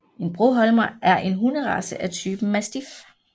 En broholmer er en hunderace af typen mastiff